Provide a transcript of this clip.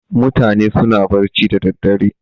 Mutane suna barci da daddare.